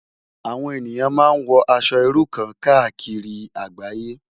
Awòn éniyán má n wò Aṣò irú kàn kàákiri àgbáyé